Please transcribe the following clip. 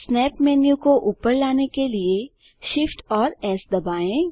snap menu को ऊपर लाने के लिए Shift और एस दबाएँ